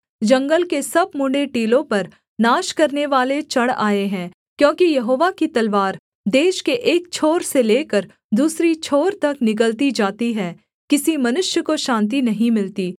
जंगल के सब मुंडे टीलों पर नाश करनेवाले चढ़ आए हैं क्योंकि यहोवा की तलवार देश के एक छोर से लेकर दूसरी छोर तक निगलती जाती है किसी मनुष्य को शान्ति नहीं मिलती